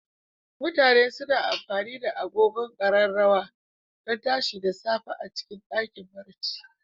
mutane suna amfani da agogon Ƙararrawa don tashi da safe a cikin ɗakin barci.